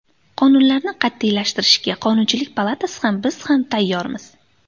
Qonunlarni qat’iylashtirishga Qonunchilik palatasi ham, biz ham tayyormiz.